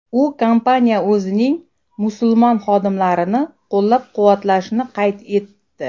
U kompaniya o‘zining musulmon xodimlarini qo‘llab-quvvatlashini qayd etdi.